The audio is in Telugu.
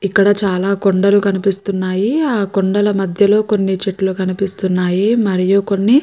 ఇక్కడ చాలా కొండలు కనిపిస్తున్నాయి. ఆ కొండల మద్యలో కొన్ని చెట్లు కనిపిస్తున్నాయి. మరియు కొన్ని --